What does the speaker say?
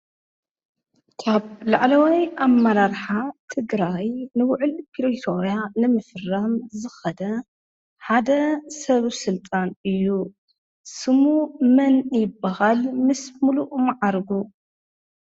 ካብ ላዕለዋይ ኣብመራርሓ ትግራይ ንውዕል ፕሪቶርያ ንምፍራም ዝኸደ ሓደ ሰብ ሥልጣን እዩ ስሙ መን ይበሃል ምስምሉእ መዓርጉ?